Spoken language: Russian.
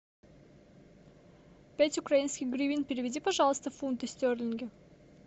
пять украинских гривен переведи пожалуйста в фунты стерлинги